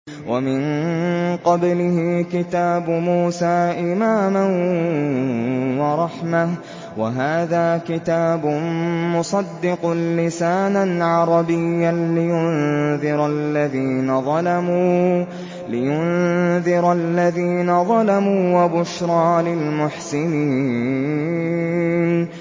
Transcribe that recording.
وَمِن قَبْلِهِ كِتَابُ مُوسَىٰ إِمَامًا وَرَحْمَةً ۚ وَهَٰذَا كِتَابٌ مُّصَدِّقٌ لِّسَانًا عَرَبِيًّا لِّيُنذِرَ الَّذِينَ ظَلَمُوا وَبُشْرَىٰ لِلْمُحْسِنِينَ